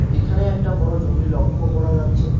এখানে একটা বড়ো জমি লক্ষ করা যাচ্ছে।